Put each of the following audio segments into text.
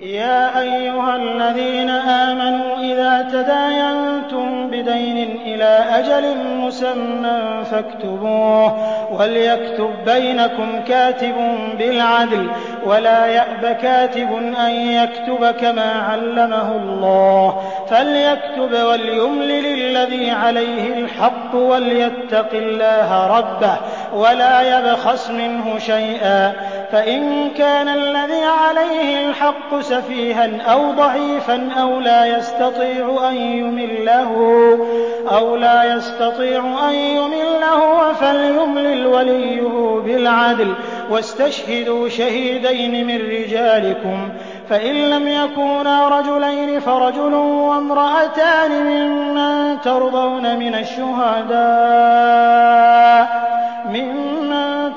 يَا أَيُّهَا الَّذِينَ آمَنُوا إِذَا تَدَايَنتُم بِدَيْنٍ إِلَىٰ أَجَلٍ مُّسَمًّى فَاكْتُبُوهُ ۚ وَلْيَكْتُب بَّيْنَكُمْ كَاتِبٌ بِالْعَدْلِ ۚ وَلَا يَأْبَ كَاتِبٌ أَن يَكْتُبَ كَمَا عَلَّمَهُ اللَّهُ ۚ فَلْيَكْتُبْ وَلْيُمْلِلِ الَّذِي عَلَيْهِ الْحَقُّ وَلْيَتَّقِ اللَّهَ رَبَّهُ وَلَا يَبْخَسْ مِنْهُ شَيْئًا ۚ فَإِن كَانَ الَّذِي عَلَيْهِ الْحَقُّ سَفِيهًا أَوْ ضَعِيفًا أَوْ لَا يَسْتَطِيعُ أَن يُمِلَّ هُوَ فَلْيُمْلِلْ وَلِيُّهُ بِالْعَدْلِ ۚ وَاسْتَشْهِدُوا شَهِيدَيْنِ مِن رِّجَالِكُمْ ۖ فَإِن لَّمْ يَكُونَا رَجُلَيْنِ فَرَجُلٌ وَامْرَأَتَانِ مِمَّن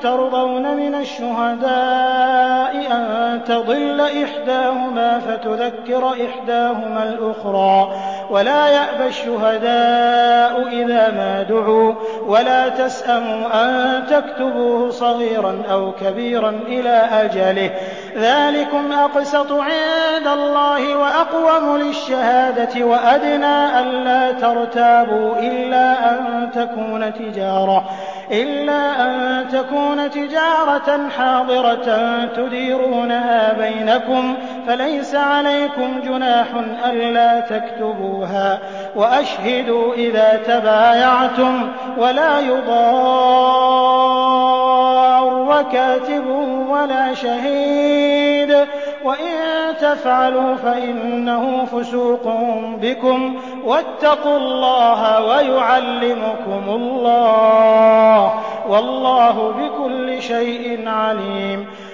تَرْضَوْنَ مِنَ الشُّهَدَاءِ أَن تَضِلَّ إِحْدَاهُمَا فَتُذَكِّرَ إِحْدَاهُمَا الْأُخْرَىٰ ۚ وَلَا يَأْبَ الشُّهَدَاءُ إِذَا مَا دُعُوا ۚ وَلَا تَسْأَمُوا أَن تَكْتُبُوهُ صَغِيرًا أَوْ كَبِيرًا إِلَىٰ أَجَلِهِ ۚ ذَٰلِكُمْ أَقْسَطُ عِندَ اللَّهِ وَأَقْوَمُ لِلشَّهَادَةِ وَأَدْنَىٰ أَلَّا تَرْتَابُوا ۖ إِلَّا أَن تَكُونَ تِجَارَةً حَاضِرَةً تُدِيرُونَهَا بَيْنَكُمْ فَلَيْسَ عَلَيْكُمْ جُنَاحٌ أَلَّا تَكْتُبُوهَا ۗ وَأَشْهِدُوا إِذَا تَبَايَعْتُمْ ۚ وَلَا يُضَارَّ كَاتِبٌ وَلَا شَهِيدٌ ۚ وَإِن تَفْعَلُوا فَإِنَّهُ فُسُوقٌ بِكُمْ ۗ وَاتَّقُوا اللَّهَ ۖ وَيُعَلِّمُكُمُ اللَّهُ ۗ وَاللَّهُ بِكُلِّ شَيْءٍ عَلِيمٌ